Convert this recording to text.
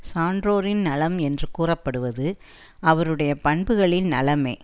சான்றோரின் நலம் என்று கூறப்படுவது அவறுடைய பண்புகளின் நலமே